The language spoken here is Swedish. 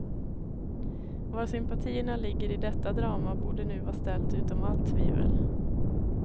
Var sympatierna ligger i detta drama borde nu var ställt utom all tvivel.